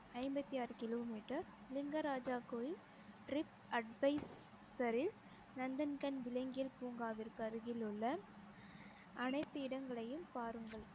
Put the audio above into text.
ஐம்பத்தி ஆறு kilo meter Lingaraja கோயில் ரித் அட்வைசரில் நந்தன்கன் விளங்கியல் பூங்காவிற்கு அருகிலுள்ள அனைத்து இடங்களையும் பாருங்கள்